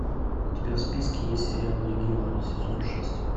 у тебя в списке есть сериал легион сезон шесть